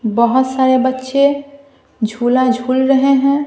बहुत सारे बच्चे झूला झूल है।